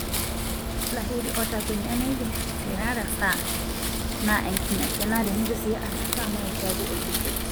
'Lahiri otakwenia nejo,'tenarasaa ,naa enkingasia ,naa tenatu sii arasaa na kiaku obuket.